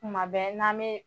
Kuma bɛ n'an bɛ